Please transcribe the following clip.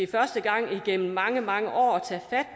første gang i mange mange år